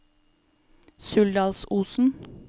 Suldalsosen